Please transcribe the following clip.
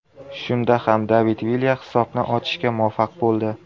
Shunda ham David Vilya hisobni ochishga muvaffaq bo‘ldi.